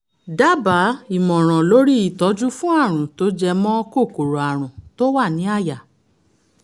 dábàá ìmọ̀ràn lórí ìtọ́jú fún àrùn tó jẹ mọ́ kòkòrò àrùn tó wà ní àyà